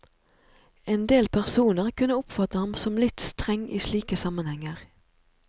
Endel personer kunne oppfatte ham som litt streng i slike sammenhenger.